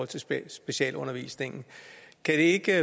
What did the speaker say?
til specialundervisningen kan det ikke